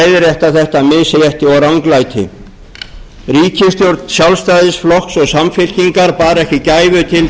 leiðrétta þetta misrétti og ranglæti ríkisstjórn sjálfstæðisflokks og samfylkingar bar ekki gæfu til